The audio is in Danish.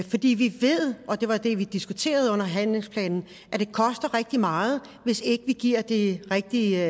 fordi vi ved og det var det vi diskuterede med handlingsplanen at det koster rigtig meget hvis ikke vi giver de rigtige